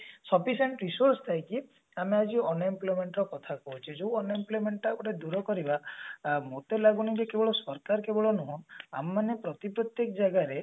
sufficient resource ଥାଇକି ଆମେ ଆଜି unemployment ର କଥା କହୁଛେ ଯୋଉ unemployment ଟା ଗୋଟେ ଦୂର କରିବା ଅ ମତେ ଲାଗୁନି ଯେ କେବଳ ସରକାର କେବଳ ନୁହଁ ଆମେ ମାନେ ଜାଗାରେ